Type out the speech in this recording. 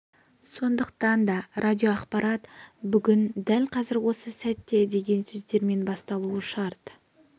сондықтан да радиоақпарат бүгін дәл қазір осы сәтте деген сөздермен басталуы шарт